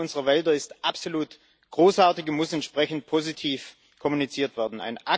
Die Leistung unserer Wälder ist absolut großartig und muss entsprechend positiv kommuniziert werden.